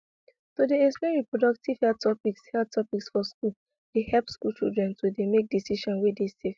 to dey explain reproductive health topics health topics for schools dey help school children to dey make decisions wey dey safe